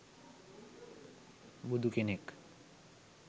බුදුකෙනෙක්